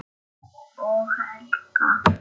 Og Helga.